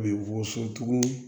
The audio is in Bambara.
U bɛ wɔso tugun